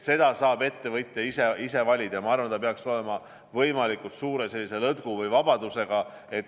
Seda saab ettevõtja ise valida ja ma arvan, et see peaks olema võimalikult suure lõtku või vabadusega.